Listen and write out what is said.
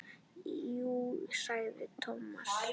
Jú sagði Thomas.